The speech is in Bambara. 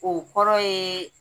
O kɔrɔ ye